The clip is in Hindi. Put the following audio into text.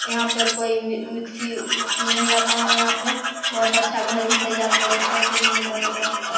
यहाँ पे कोई मि मिक्सी विक्सी नहीं आता है यहां पे बहुत अच्छा घर भी तैयार कर दिया हर किस्म का बन्दोवस्त अ --